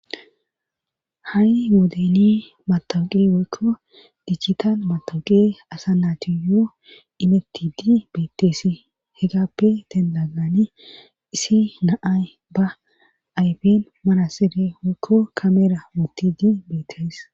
ha7i moodeni matawuqe woykko dichitan matawuqe asa naati yoo inetidi beetteesi hegappe dendagani isi naay ba ayben marasire woykko kamera wuti di beettes